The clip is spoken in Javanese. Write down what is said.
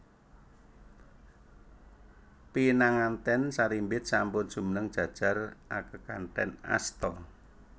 Pinanganten sarimbit sampun jumeneng jajar akekanthen asta